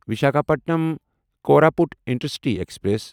Visakhapatnam Koraput intercity express